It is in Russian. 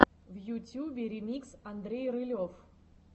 в ютюбе ремикс андрей рылев